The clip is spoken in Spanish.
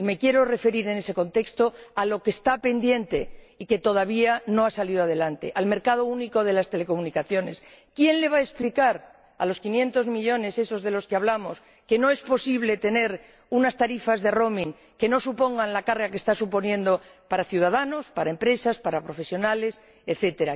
Y me quiero referir en ese contexto a lo que está pendiente y que todavía no ha salido adelante, al mercado único de las telecomunicaciones. ¿Quién les va a explicar a esos quinientos millones de los que hablamos que no es posible tener unas tarifas de roaming que no supongan la carga que están suponiendo para ciudadanos, para empresas, para profesionales, etc.?